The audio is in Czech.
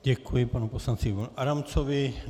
Děkuji panu poslanci Ivanu Adamcovi.